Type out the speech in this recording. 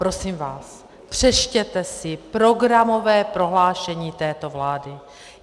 Prosím vás, přečtěte si programové prohlášení této vlády.